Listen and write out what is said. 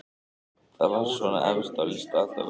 Það var svona efst á lista allavega.